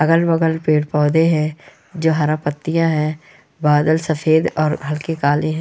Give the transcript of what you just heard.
अगल बगल पेड़ पौधे हैं | जो हरा पत्तियाँ है बादल सफेद और हलके काले हैं।